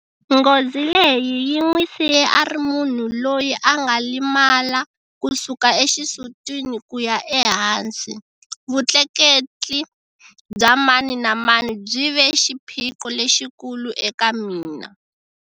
Nghozi leyi yi n'wi siye a ri munhu loyi a nga limala kusuka exisutini kuya ehansi. Vutleketli bya mani na mani byi ve xiphiqo lexikulu eka mina.